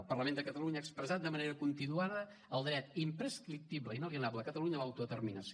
el parlament de catalunya ha expressat de manera continuada el dret imprescriptible i inalienable de catalunya a l’autodeterminació